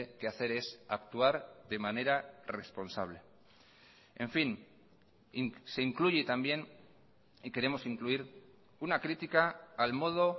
que hacer es actuar de manera responsable en fin se incluye también y queremos incluir una crítica al modo